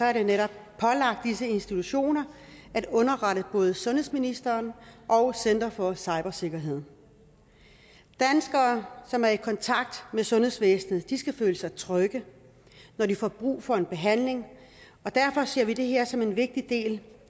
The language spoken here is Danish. er det netop pålagt disse institutioner at underrette både sundhedsministeren og center for cybersikkerhed danskere som er i kontakt med sundhedsvæsenet skal føle sig trygge når de får brug for en behandling og derfor ser vi det her som en vigtig del